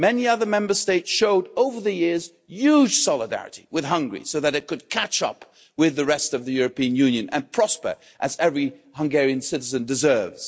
Many other Member States showed, over the years, huge solidarity with Hungary so that it could catch up with the rest of the European Union and prosper as every Hungarian citizen deserves.